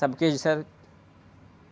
Sabe o que eles disseram?